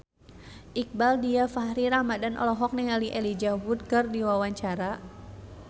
Iqbaal Dhiafakhri Ramadhan olohok ningali Elijah Wood keur diwawancara